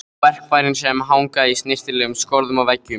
Á verkfærin sem hanga í snyrtilegum skorðum á veggjunum.